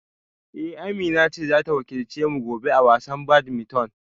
Eh Amina ce za ta wakilce mu gobe a wasan badminton